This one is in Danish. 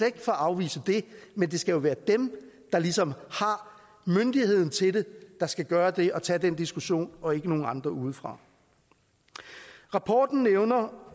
ikke for at afvise det men det skal jo være dem der ligesom har myndigheden til det der skal gøre det og tage den diskussion og ikke nogen andre udefra rapporten nævner